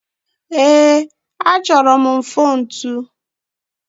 Ee, achọrọ m mfontu?